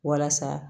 Walasa